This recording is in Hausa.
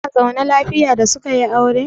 Zuna zaune lafiya da suka yi aure?